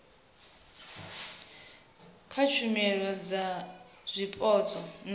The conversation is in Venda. kha tshumelo dza zwipotso na